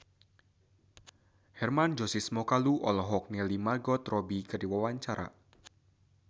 Hermann Josis Mokalu olohok ningali Margot Robbie keur diwawancara